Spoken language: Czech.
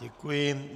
Děkuji.